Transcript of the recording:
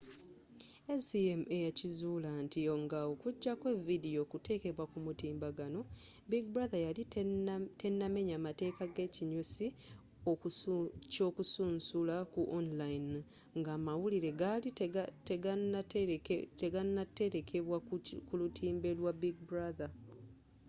acma yakizuula nti nga ojeko vidiyo okutekebwa ku mutimbagano big brother yali tenamenya mateeka g'ekinyusi ky'okusunsula ku online nga amawulire gaali teganatelekebwa ku lutimbe lwa big brother